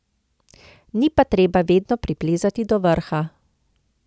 Ni pa treba vedno priplezati do vrha.